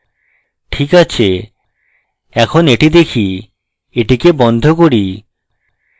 ঠিক আছে এখন এটি দেখি এটিকে বন্ধ করি